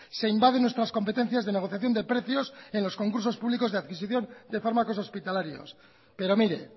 se invaden nuestras competencias de negociación de precios en los concursos públicos de adquisición de fármacos hospitalarios pero mire